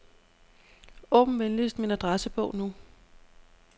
Åbn venligst min adressebog nu.